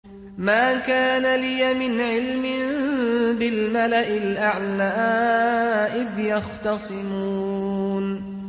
مَا كَانَ لِيَ مِنْ عِلْمٍ بِالْمَلَإِ الْأَعْلَىٰ إِذْ يَخْتَصِمُونَ